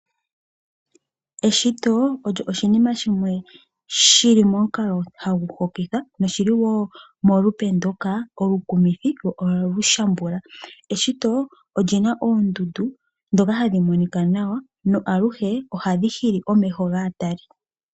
Eshito olyo oshinima shimwe shi li momukalo hagu hokitha noshi li wo mulupe ndoka olukumithi lyo ohali shambula. Eshito oli na oondundu ndhoka hadhi monika nawa na aluhe ohadhi hili omeho gaatali.